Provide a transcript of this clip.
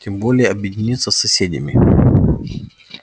тем более объединиться с соседями